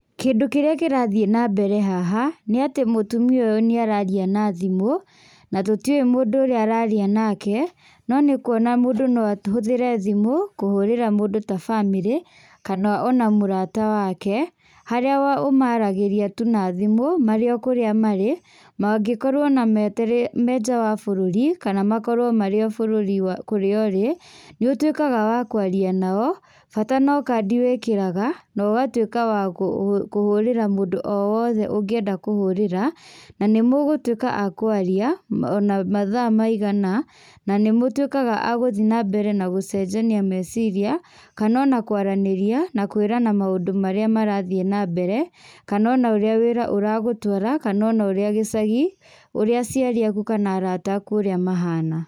Kĩndũ kĩrĩa kĩrathiĩ nambere haha nĩatĩ mũtumia ũyũ nĩararia na thimũ na tũtiũĩ mũndũ ũrĩa araria nake no nĩũkuona mũndũ noahũthĩre thimũ kũhũrĩra mũndũ ta bamĩrĩ kana ona mũrata wake harĩa wa ũmaragĩria tu na thimũ marĩ o kũrĩa marĩ mangĩkorwo me marĩ nja wa bũrũri kana makorwo marĩ o bũrũri wa kũrĩa ũrĩ nĩũtwĩkaga wa kwaria nao, bata no kandi wĩkĩraga nogatwĩka wa gũ wakũhũrĩra mũndũ o wothe ũngĩenda kũhũrĩra na nĩmũgũtwĩka a kwaria ma ona mathaa maigana na nĩmũtwĩkaga a gũthiĩ na gũcenjania meciria kana ona kwaranĩria na kwĩranan maũndũ marĩa marathiĩ nambere kana ona ũrĩa wĩra ũragũtwara kana ũrĩa gĩcagi ũrĩa aciari aku kana arata aku mahana.